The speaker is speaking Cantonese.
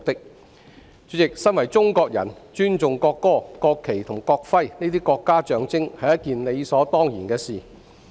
代理主席，身為中國人，尊重國歌、國旗及國徽這些國家象徵是理所當然的事。